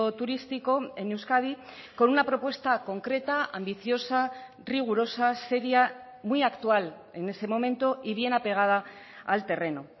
turístico en euskadi con una propuesta concreta ambiciosa rigurosa seria muy actual en ese momento y bien apegada al terreno